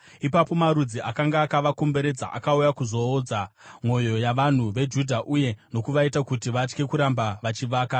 Ipapo marudzi akanga akavakomberedza akauya kuzoodza mwoyo yavanhu veJudha uye nokuvaita kuti vatye kuramba vachivaka.